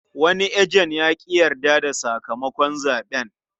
Wani ejen ya ƙi yarda da sakamakon zaɓen.